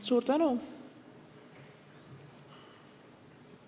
Suur tänu!